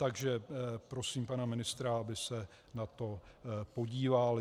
Takže prosím pana ministra, aby se na to podíval.